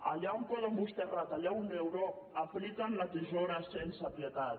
allà on poden vostès retallar un euro apliquen la tisora sense pietat